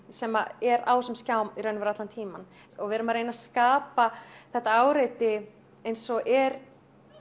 sem er á þessum skjám í raun og veru allan tímann og við erum að reyna að skapa þetta áreiti eins og er